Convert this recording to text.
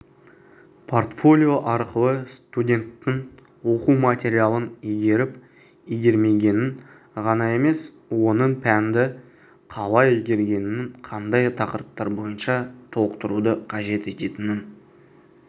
портфолио арқылы студенттің оқу материалын игеріп-игермегенін ғана емес оның пәнді қалай игергенін қандай тақырыптар бойынша толықтыруды қажет ететінін